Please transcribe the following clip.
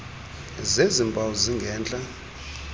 zezi mpawu zingentla